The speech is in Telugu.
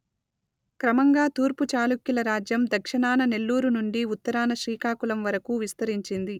క్రమంగా తూర్పు చాళుక్యుల రాజ్యం దక్షిణాన నెల్లూరు నుండి ఉత్తరాన శ్రీకాకుళం వరకు విస్తరించింది